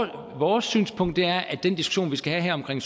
her vores synspunkt er at den diskussion vi skal have her omkring